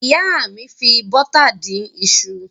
Ìyá mi fi bọ́tà dín iṣu.